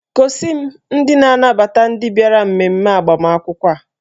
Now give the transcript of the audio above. Gosi m ndị na-anabata ndị bịara mmemme agbamakwụkwọ a.